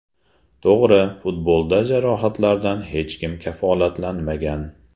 To‘g‘ri, futbolda jarohatlardan hech kim kafolatlanmagan.